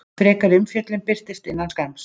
Frekari umfjöllun birtist innan skamms.